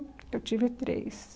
Eu tive três.